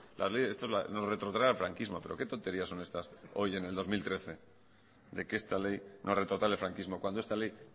las leyes nos retrotrae al franquismo pero qué tonterías son estas hoy en el dos mil trece de que esta ley nos retrotrae al franquismo cuando esta ley